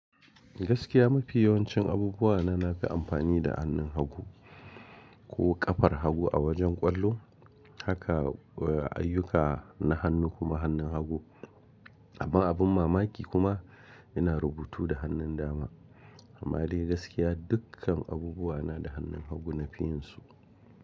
Gaskiya mafi yawancin abubuwa na, nafi amfani da hannun hagu ko kafar hagu a wajen ƙwallo, haka ayyuka na hannu kuma hannun hagu. Amma abin mamaki kuma ina rubutu da hannun dama. Amma dai gaskiya dukkan abubuwa na da hannun hagu na fiyansu.